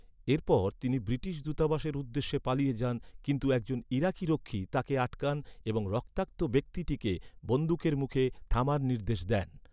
এরপর তিনি ব্রিটিশ দূতাবাসের উদ্দেশ্যে পালিয়ে যান, কিন্তু একজন ইরাকি রক্ষী তাঁকে আটকান এবং রক্তাক্ত ব্যক্তিটিকে বন্দুকের মুখে থামার নির্দেশ দেন।